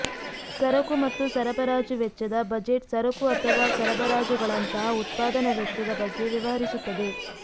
ಸರಕು ಮತ್ತು ಸರಬರಾಜು ವೆಚ್ಚದ ಬಜೆಟ್ ಸರಕು ಅಥವಾ ಸರಬರಾಜುಗಳಂತಹ ಉತ್ಪಾದನಾ ವೆಚ್ಚದ ಬಗ್ಗೆ ವ್ಯವಹರಿಸುತ್ತದೆ